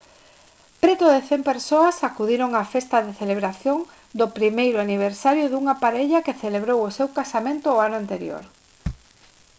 preto de 100 persoas acudiron á festa de celebración do primeiro aniversario dunha parella que celebrou o seu casamento o ano anterior